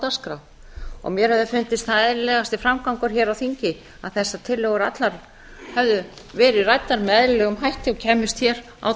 dagskrá og mér hefði fundist það eðlilegasti framgangur hér á þingi að þessar tillögur allar hefðu verið ræddar með eðlilegum hætti og kæmust hér á